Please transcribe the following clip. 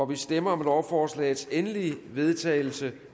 vi stemmer om lovforslagets endelige vedtagelse